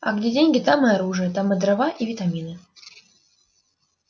а где деньги там и оружие там и дрова и витамины